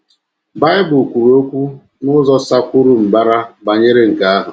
Bible kwuru okwu n’ụzọ sakwuru mbara banyere nke ahụ